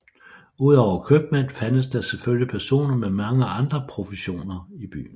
Udover købmænd fandtes der selvfølgelig personer med mange andre professioner i byen